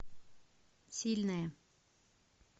сильная